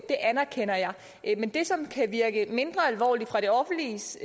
det anerkender jeg men det som kan virke mindre alvorligt fra det offentliges